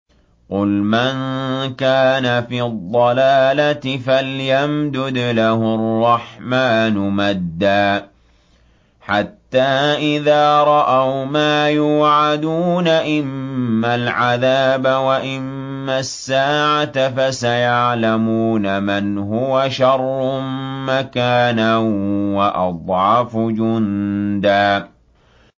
قُلْ مَن كَانَ فِي الضَّلَالَةِ فَلْيَمْدُدْ لَهُ الرَّحْمَٰنُ مَدًّا ۚ حَتَّىٰ إِذَا رَأَوْا مَا يُوعَدُونَ إِمَّا الْعَذَابَ وَإِمَّا السَّاعَةَ فَسَيَعْلَمُونَ مَنْ هُوَ شَرٌّ مَّكَانًا وَأَضْعَفُ جُندًا